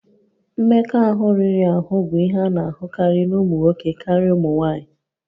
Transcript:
Mmekọahụ riri ahụ bụ ihe a na-ahụkarị na ụmụ nwoke karịa ụmụ nwanyị